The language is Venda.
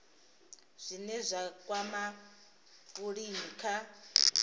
zwine zwa kwama vhulimi kha